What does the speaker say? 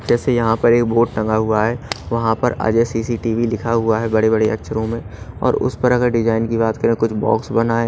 जैसे यहां पर एक बोर्ड टंगा हुआ है वहां पर अजय सी_सी_टी_वी लिखा हुआ है बड़े बड़े अक्षरों में और उस पर अगर डिजाइन की बात करें कुछ बॉक्स बना है।